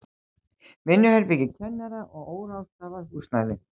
Vinnuherbergi kennara og óráðstafað húsnæði.